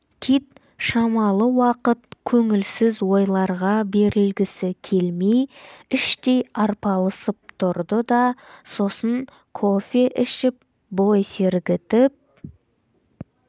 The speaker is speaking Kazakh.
кит шамалы уақыт көңілсіз ойларға берілгісі келмей іштей арпалысып тұрды да сосын кофе ішіп бой сергітіп